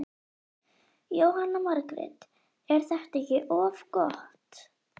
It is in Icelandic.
Jóhanna Margrét: Er þetta ekki of gott?